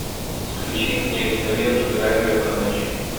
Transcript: включи мне киноленту драйвер на ночь